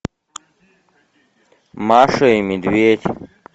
маша и медведь